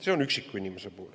See on üksiku inimese puhul.